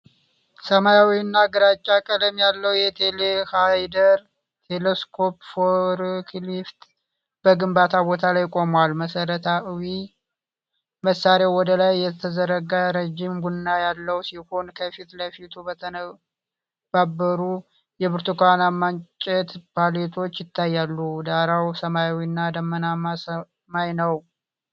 ሰማያዊ እና ግራጫ ቀለም ያለው ቴሌሃንድለር (ቴሌስኮፒክ ፎርክሊፍት) በግንባታ ቦታ ላይ ቆሟል። መሣሪያው ወደ ላይ የተዘረጋ ረዥም ቡም ያለው ሲሆን፤ ከፊት ለፊቱ በተነባበሩ የብርቱካናማ እንጨት ፓሌቶች ይታያሉ። ዳራው ሰማያዊና ደመናማ ሰማይ ነው።